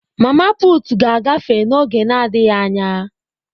mama putu ga-agafe oge na adighi anya.